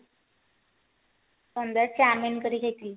ସନ୍ଧ୍ଯା ରେ chow mein କରି ଖାଇଥିଲି